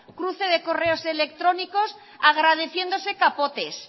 cruce de correos electrónicos agradeciéndose capotes